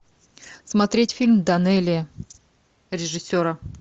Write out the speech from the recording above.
смотреть фильм данелия режиссера